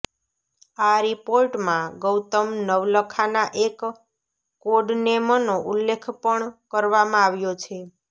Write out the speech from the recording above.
આ રિપોર્ટમાં ગૌતમ નવલખાના એક કોડનેમનો ઉલ્લેખ પણ કરવામાં આવ્યો છે